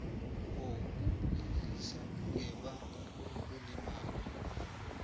wokulilisa ngebanga lokulimala